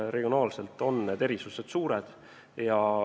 Regionaalsed erisused on suured.